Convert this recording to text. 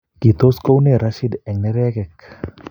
kitoi kou noe Rashid eng' nerekwek